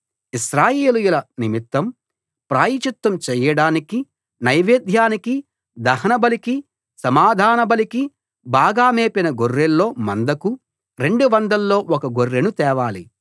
ఇశ్రాయేలీయుల నిమిత్తం ప్రాయశ్చిత్తం చేయడానికి నైవేద్యానికీ దహనబలికీ సమాధానబలికీ బాగా మేపిన గొర్రెల్లో మందకు రెండువందల్లో ఒక గొర్రెను తేవాలి